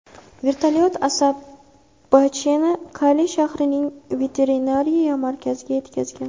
Vertolyot Asabacheni Kali shahrining veterinariya markaziga yetkazgan.